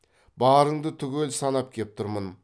барыңды түгел санап кеп тұрмын